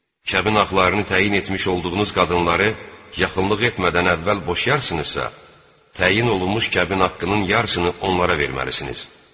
Kəbin haqlarını təyin etmiş olduğunuz qadınları yaxınlıq etmədən əvvəl boşayarsınızsa, təyin olunmuş kəbin haqqının yarısını onlara verməlisiniz.